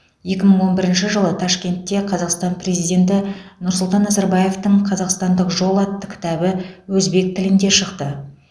екі мың он бірінші жылы ташкентте қазақстан президенті нұрсұлтан назарбаевтың қазақстандық жол атты кітабы өзбек тілінде шықты